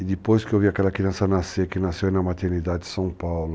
E depois que eu vi aquela criança nascer, que nasceu aí na maternidade em São Paulo,